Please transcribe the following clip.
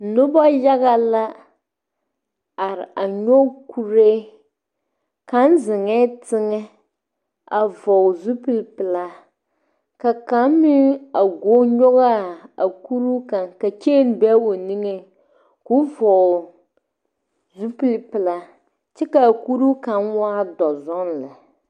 Nuba yaga la arẽ a nyuge kuree, kang zengɛɛ tenga a vɔgli zupili pɛlaa ka kang meng a guo nyugaa a kuru kang ka chain be ɔ nengɛɛ kuo vɔgle zupili pɛlaa kye ka a kuruu kanga waa dɔ zung le.